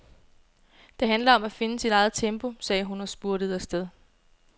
Det handler om at finde sit eget tempo, sagde hun og spurtede afsted.